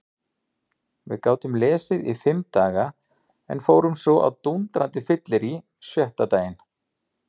Við gátum lesið í fimm daga en fórum svo á dúndrandi fyllerí sjötta daginn.